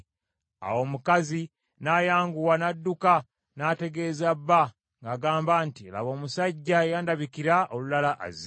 Awo omukazi n’ayanguwa n’adduka n’ategeeza bba ng’agamba nti, “Laba omusajja eyandabikira olulala azze.”